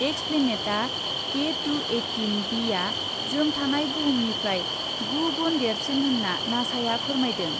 एक्सप्लेनेटआ K to eighteen बिआ जों थानाय बुहुमनिफ्राय गु गुन देरसिन होन्ना नासाया फोरमायदों।